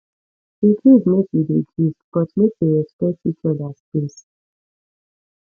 e good make we dey gist but make we respect each oda space